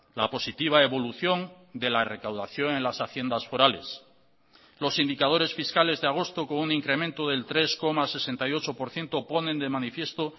la positiva evolución de la recaudación en las haciendas forales los indicadores fiscales de agosto con un incremento del tres coma sesenta y ocho por ciento ponen de manifiesto